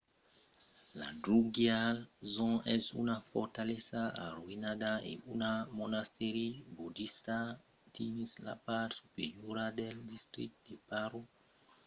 la drukgyal dzong es una fortalesa arroïnada e un monastèri bodista dins la part superiora del districte de paro dins phondey village